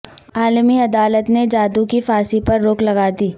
عالمی عدالت نے جادھو کی پھانسی پر روک لگا دی